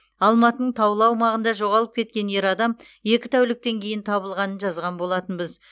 алматының таулы аумағында жоғалып кеткен ер адам екі тәуліктен кейін табылғанын жазған болатынбыз